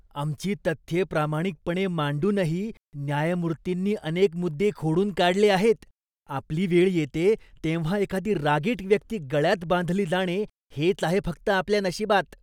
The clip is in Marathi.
आमची तथ्ये प्रामाणिकपणे मांडूनही न्यायमूर्तींनी अनेक मुद्दे खोडून काढले आहेत. आपली वेळ येते तेव्हा एखादी रागीट व्यक्ती गळ्यात बांधली जाणे हेच आहे फक्त आपल्या नशिबात.